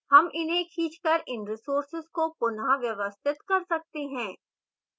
हम इन्हें खींचकर इन resources को पुनः व्यवस्थित कर सकते हैं